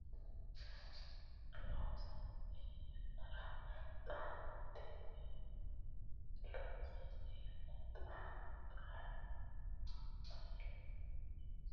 loonsanni yannara Xaa noonniti hee loonsanni yannara Xaa Xaa yannara loonsanni hee noonniti Wolqisa Muuxxinsete Kofono di Abbay lagi aanaati !